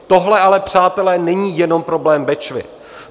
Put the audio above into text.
Tohle ale, přátelé, není jenom problém Bečvy.